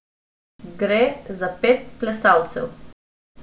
Gre za pet plesalcev.